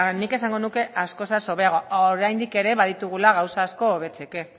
nik esango nuke askoz hobeago oraindik ere baditugula gauza asko hobetzeko